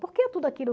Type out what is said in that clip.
Por que tudo aquilo?